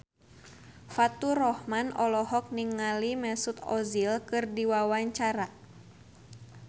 Faturrahman olohok ningali Mesut Ozil keur diwawancara